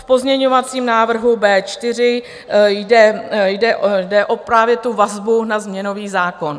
V pozměňovacím návrhu B4 jde právě o vazbu na změnový zákon.